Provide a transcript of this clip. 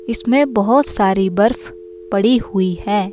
इसमें बहुत सारी बर्फ पड़ी हुई है।